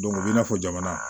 u b'i n'a fɔ jamana